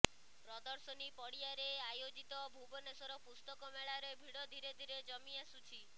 ପ୍ରଦର୍ଶନୀ ପଡ଼ିଆରେ ଆୟୋଜିତ ଭୁବନେଶ୍ୱର ପୁସ୍ତକମେଳାରେ ଭିଡ଼ ଧୀରେଧୀରେ ଜମି ଆସୁଛି